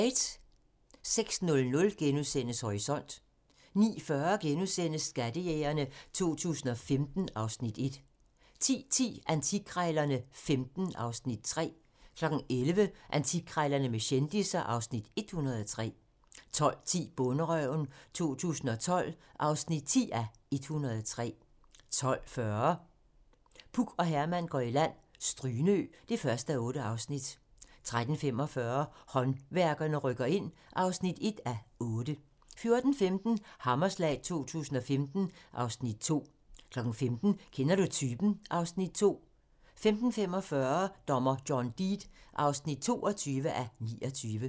06:00: Horisont * 09:40: Skattejægerne 2015 (Afs. 1)* 10:10: Antikkrejlerne XV (Afs. 3) 11:00: Antikkrejlerne med kendisser (Afs. 103) 12:10: Bonderøven 2012 (10:103) 12:40: Puk og Herman går i land - Strynø (1:8) 13:45: Håndværkerne rykker ind (1:8) 14:15: Hammerslag 2015 (Afs. 2) 15:00: Kender du typen? (Afs. 2) 15:45: Dommer John Deed (22:29)